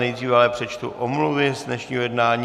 Nejdříve ale přečtu omluvy z dnešního jednání.